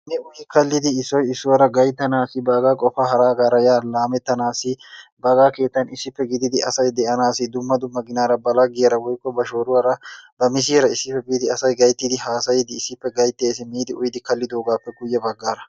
Mi uyyi kaallidi issoy issuwara gayttanasi baggaa qofa ya ha laametanasi baggaa keetan issippe gididi asay de'anasi dumma dumma ginara ba laggiyara woykko ba shoruwaara ba misiyara issippe biidi asay gayttidi haasayidi issippe gaytteesi miidi uyidi kalogappe guyebaggaaraa.